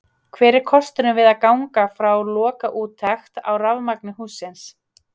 Hver er kostnaðurinn við að ganga frá lokaúttekt á rafmagni hússins?